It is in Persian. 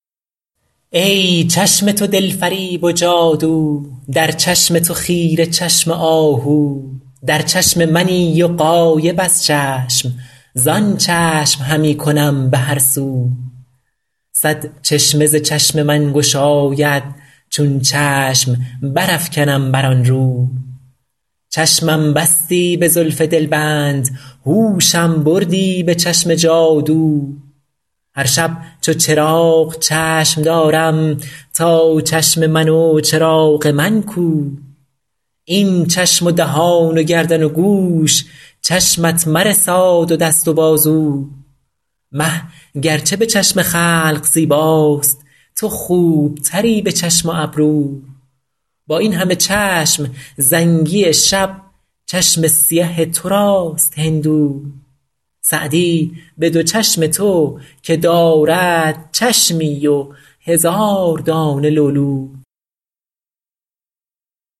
ای چشم تو دل فریب و جادو در چشم تو خیره چشم آهو در چشم منی و غایب از چشم زآن چشم همی کنم به هر سو صد چشمه ز چشم من گشاید چون چشم برافکنم بر آن رو چشمم بستی به زلف دلبند هوشم بردی به چشم جادو هر شب چو چراغ چشم دارم تا چشم من و چراغ من کو این چشم و دهان و گردن و گوش چشمت مرساد و دست و بازو مه گر چه به چشم خلق زیباست تو خوب تری به چشم و ابرو با این همه چشم زنگی شب چشم سیه تو راست هندو سعدی به دو چشم تو که دارد چشمی و هزار دانه لولو